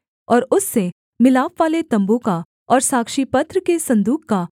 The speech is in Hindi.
और उससे मिलापवाले तम्बू का और साक्षीपत्र के सन्दूक का